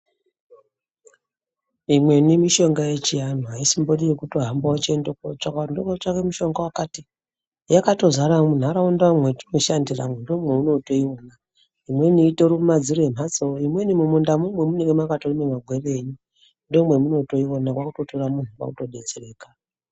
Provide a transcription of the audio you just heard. Imweni mishonga yechianhu aisimbori yekutohamba wechiende kotsvaka ndondotsvake mushonga wakati yakatozara munharaundamwo mwatinoshandira ndomweunotoiona imweni itori mumadziro mwemhatso imweni mumundamwo memunenge mwakatorime magwere enyu ndomemunotoiona kwakutotra muntu kwakutodetsereka.